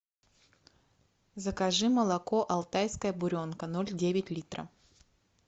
закажи молоко алтайская буренка ноль девять литра